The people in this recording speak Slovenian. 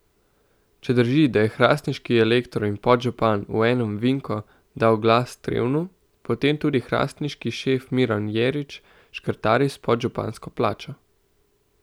Če drži, da je hrastniški elektor in podžupan v enem Vinko dal glas Trevnu, potem tudi hrastniški šef Miran Jerič škrtari s podžupansko plačo.